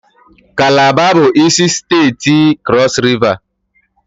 Kalaba bụ isi steeti Krọs Riva